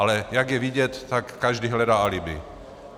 Ale jak je vidět, tak každý hledá alibi.